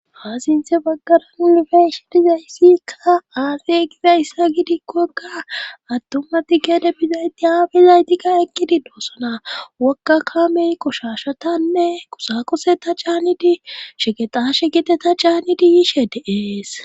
Ha sinthe baggaran unifeshedizayssikka aasey gizayssa gidikkakka attuma ti gede bizayti yaabizaytika ekkidi doossona wokga kamey kushashatanne kusa kuse ta caannidi shegexashe gite ta caannidi yiishe de7ees